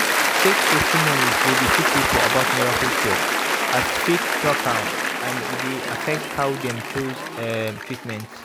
fake testimonies dey deceive people about miracle cure as faith talk am and e dey affect how dem chose um treatment.